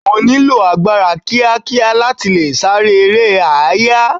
O nílò agbára kíá kíá láti le sáré eré àáyá.